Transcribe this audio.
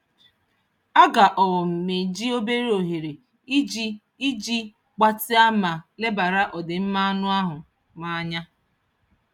Aga um m eji obere ohere iji iji gbatịa ma lebara ọdịmma anụ ahụ m anya.